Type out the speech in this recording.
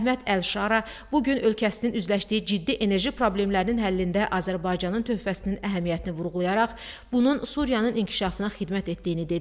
Əhməd Əlşara bu gün ölkəsinin üzləşdiyi ciddi enerji problemlərinin həllində Azərbaycanın töhfəsinin əhəmiyyətini vurğulayaraq, bunun Suriyanın inkişafına xidmət etdiyini dedi.